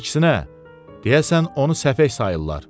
Əksinə, deyəsən onu səfeh sayırlar.